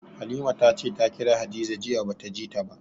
Halima ta ce ta kira Hadiza jiya ba ta ji ta ba.